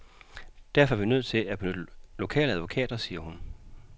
Derfor er vi nødt til at benytte lokale advokater, siger hun.